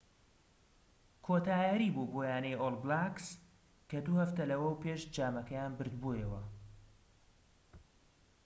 کۆتا یاریی بوو بۆ یانەی ئۆڵ بلاکس کە دوو هەفتە لەوەوپێش جامەکەیان بردبۆوە